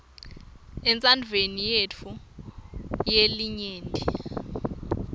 entsandvweni yetfu yelinyenti